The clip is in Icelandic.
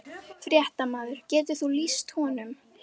Fréttamaður: Getur þú lýst honum?